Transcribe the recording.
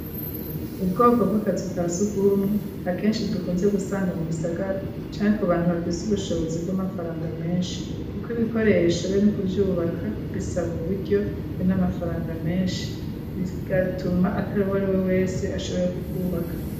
Ubwoko bw'akazuka si ugumwe ha kenshi dukunze gusanga mu bisagara canke ku bantu bafise ubushobozi bw'amafaranga menshi, kuko ibikoreyeshobe n'ukuvyubaka bisaba u buryo n'amafaranga menshi bigatuma atari uwo ari we wese ashoboye kukwubaka.